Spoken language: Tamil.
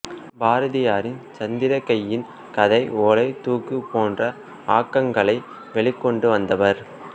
பாரதியாரின் சந்திரிகையின் கதை ஓலை தூக்கு போன்ற ஆக்கங்களை வெளிக் கொணர்ந்தவர்